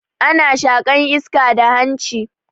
Ana shaƙan iska da hanshi.